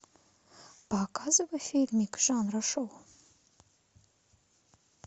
показывай фильмик жанра шоу